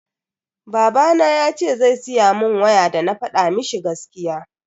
Baba yace zai siya mun waya dana fada mishi gaskiya.